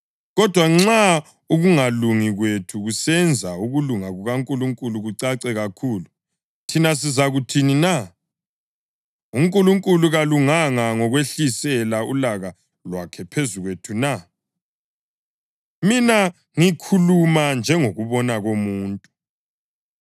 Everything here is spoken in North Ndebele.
Kodwa nxa ukungalungi kwethu kusenza ukulunga kukaNkulunkulu kucace kakhulu, thina sizakuthini na? UNkulunkulu kalunganga ngokwehlisela ulaka lwakhe phezu kwethu na? (Mina ngikhuluma njengokubona komuntu.)